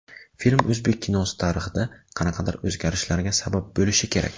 Film o‘zbek kinosi tarixida qanaqadir o‘zgarishlarga sabab bo‘lishi kerak.